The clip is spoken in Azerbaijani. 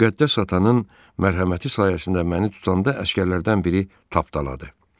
Müqəddəs atanın mərhəməti sayəsində məni tutanda əsgərlərdən biri tapdaladı.